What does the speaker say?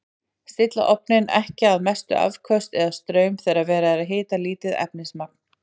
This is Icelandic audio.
Stilla ofninn ekki á mestu afköst eða straum þegar verið er að hita lítið efnismagn.